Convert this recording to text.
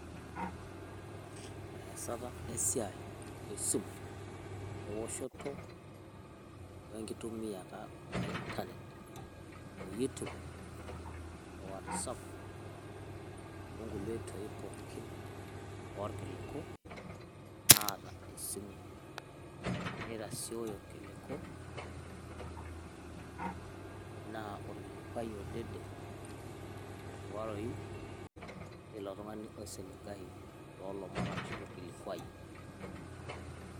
ore eesata esiai esiai esimu, eoshoto, we nkitumiata e internet,o YouTube o whatsapp onkulie oitoi pookin orkiliku, naata esimu. nitasioyo irkiliku naa orkilikuai odede, oiriwaroyu teilo tungani oisiligayu, toolomon ashu orkilikuai.